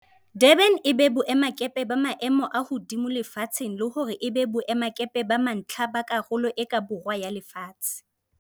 Durban e be boemakepe ba maemo a hodimo lefatsheng le hore e be boemakepe ba mantlha ba Karolo e ka Borwa ya Lefatshe.